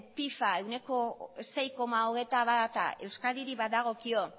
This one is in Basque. piba ehuneko sei koma hogeita bata euskadirik badagokio